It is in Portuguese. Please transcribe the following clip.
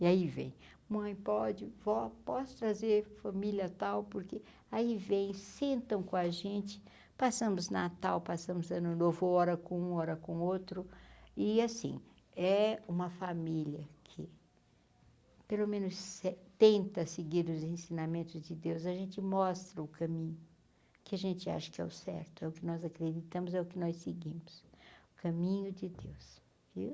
E aí vem, mãe pode, vó, posso trazer família tal, porque aí vem, sentam com a gente, passamos Natal, passamos ano novo, hora com um, hora com outro, e assim, é uma família que, pelo menos se tenta seguir os ensinamentos de Deus, a gente mostra o caminho, que a gente acha que é o certo, é o que nós acreditamos, é o que nós seguimos, o caminho de Deus, viu?